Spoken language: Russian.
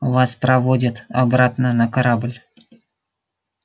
вас проводят обратно на корабль